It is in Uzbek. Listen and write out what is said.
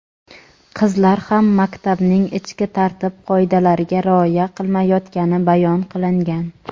qizlar ham maktabning ichki tartib-qoidalariga rioya qilmayotgani bayon qilingan.